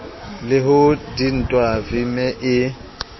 ho le dintwa vmme e